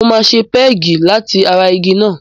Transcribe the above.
Mo máa ṣe pẹ́ẹ̀gì láti ara igi náà.